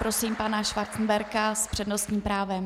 Prosím pana Schwarzenberga s přednostním právem.